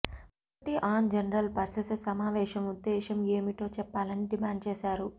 committee on general purposes సమావేశం ఉద్దేశం ఏమిటో చెప్పాలని డిమాండ్ చేశారు